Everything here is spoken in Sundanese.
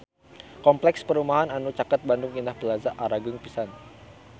Kompleks perumahan anu caket Bandung Indah Plaza agreng pisan